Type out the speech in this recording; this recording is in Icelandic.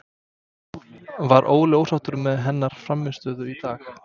Var Óli ósáttur með hennar frammistöðu í dag?